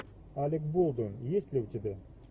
алек болдуин есть ли у тебя